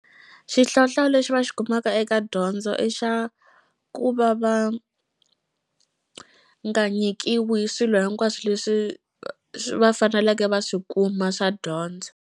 Xihlawuhlawu lexi va xi kumaka eka dyondzo i xa ku va va nga nyikiwi swilo hinkwaswo leswi va faneleke va swi kuma swa dyondzo.